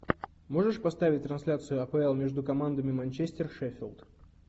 можешь поставить трансляцию апл между командами манчестер шеффилд